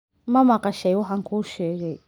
Ma maqashay waxaan kuu sheegay?